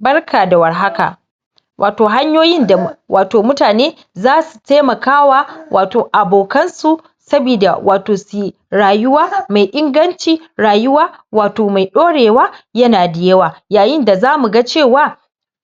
Barka da warhaka, wato hanyoyin da mutane zasu taimakawa wato abokansu sabida su yi rayuwa mai inganci, rayuwa mai ɗaurewa, yana da yawa. Yayin da zamuga cewa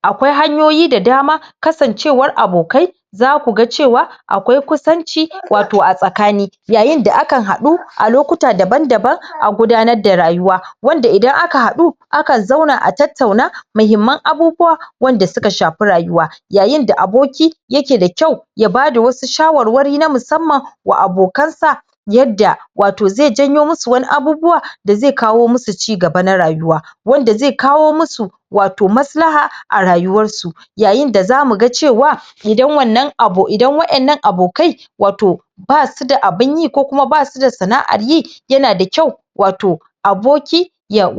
akwai hanyoyi da dama kasancewar abokai za ku ga cewa akwai kusanci a tsakani. yayin da akan haɗu a lokuta daban-daban a gudanar da rayuwa, wanda idan aka haɗu akan zauna a tattauna mahimman abubuwa waɗanda suka shafa rayuwa, yayin da aboki yake da kyau ya bada wasu shawarwari na musamman wa abokansa yadda wato zai janyo musu wasu abubuwa da zai kawo musu cigaba na rayuwa wanda zai kawo musu maslaha a rayuwarsu. Yayin da za mu ga cewa idan waɗannan abokai basu da abunyi ko kuma basu da sana'ar yi yana da kyau aboki ya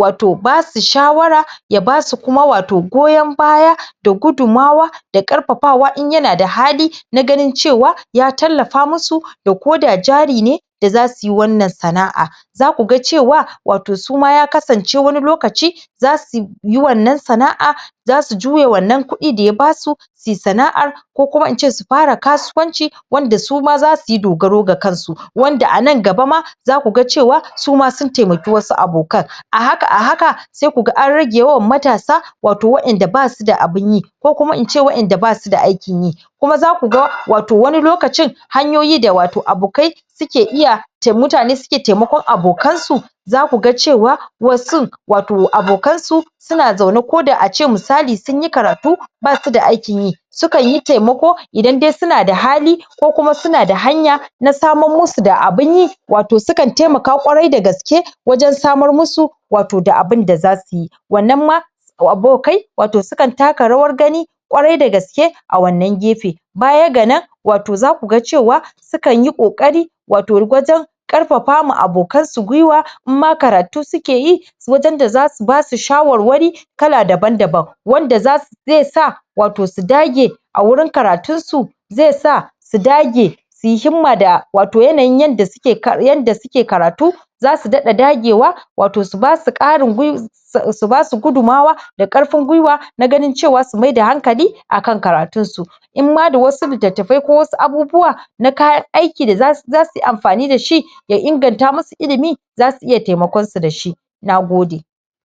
basu shawara ya basu kuma goyon baya da gudunmawa da ƙarfafawa in yana da hali na ganin cewa ya tallafa musu ko da jari ne da za su yi wanan sana'a. Za ku ga cewa wato su ma ya kasance wani lokaci za su yi wannan sana'a za su juya wannan kuɗi da ya basu suyi sana'ar ko kuma in ce su fara kasuwanci wanda su ma za su yi dogaro da kansu. Wanda a nan gaba ma za ku ga cewa su ma sun taimaki wasu abokan a haka sai ku ga an rage yawan matasa waɗanda ba su da abun yi ko kuma in ce waɗanda ba su da aikin yi. Kuma za ku ga wani lokacin hanyoyi wato da abokai suke iya mutane ke taimakon abokansu, za ku ga cewa wasun abokansu suna zaune ko da misali sunyi karatu basu da aikin yi. Su kan yi taimako idan dai suna da hali ko kuma suna da hanya na samar musu da abinyi, wato sukan taimaka ƙwarai da gaske wajen samar musu da abin da za su yi Wannan ma abokai sukan taka rawar gani ƙwarai da gaske a wannan gefe. Baya ga nan za ku ga cewa sukan yi ƙoƙari wajen ƙarfafa wa abokanansu gwiwa in ma karatu sukeyi wajen da za su basu shawarwari kala daban-daban Wanda zai sa su dage a wurin Karatunsu zai sa su dage su yi himma da yanayin yanda suke karatu, za su daɗa dagewa su basu gudumawa da ƙarfin gwiwa an a ganin cewa su maida hankali akan karatunsu.